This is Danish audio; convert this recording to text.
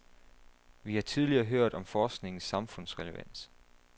Vi har tidligere hørt om forskningens samfundsrelevans.